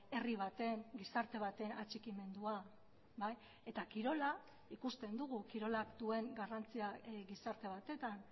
herri baten gizarte baten atxikimendua eta kirola ikusten dugu kirolak duen garrantzia gizarte batetan